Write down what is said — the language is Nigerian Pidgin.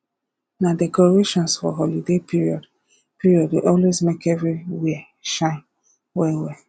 na decorations for holiday period period dey always make everywhere shine well well